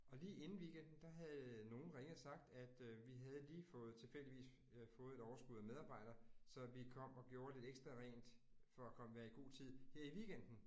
Og lige inden weekenden, der havde nogen ringet og sagt, at øh vi havde lige fået tilfældigvis øh fået et overskud af medarbejdere, så vi kom og gjorde lidt ekstra rent for at være i god tid her i weekenden